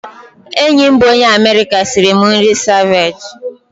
Enyi m bụ onye Amerịka sịrị m nri seviche.